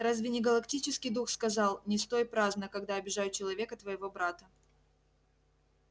разве не галактический дух сказал не стой праздно когда обижают человека твоего брата